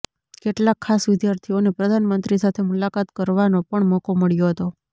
કેટલાક ખાસ વિદ્યાર્થીઓને પ્રધાનમંત્રી સાથે મુલાકાત કરવાનો પણ મોકો મળ્યો હતો